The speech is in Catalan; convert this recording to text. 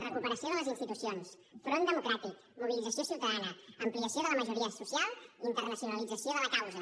recuperació de les institucions front democràtic mobilització ciutadana ampliació de la majoria social i internacionalització de la causa